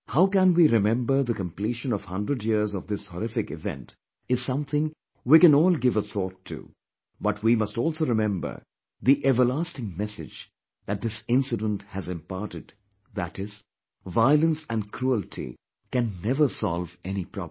How can we remember the completion of 100 years of this horrific event is something we canall give a thought to, but we must also remember the everlasting message that this incident has imparted that is violence and cruelty can never solve any problem